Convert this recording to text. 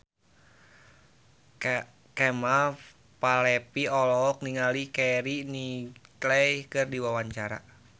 Kemal Palevi olohok ningali Keira Knightley keur diwawancara